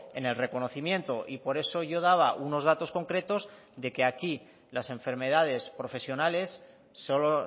en el reconocimiento y por eso yo daba unos datos concretos de que aquí las enfermedades profesionales solo